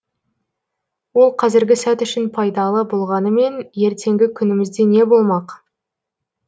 ол қазіргі сәт үшін пайдалы болғанымен ертеңгі күнімізде не болмақ